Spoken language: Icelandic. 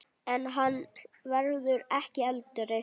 En hann verður ekki eldri.